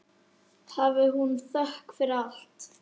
Hafi hún þökk fyrir allt.